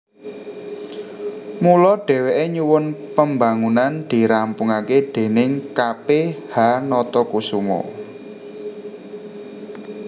Mula dhèwèké nyuwun pembangunan dirampungaké déning K P H Natakusuma